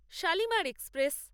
Shalimar express